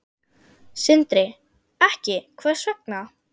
Sindri: Ekki, hvers vegna?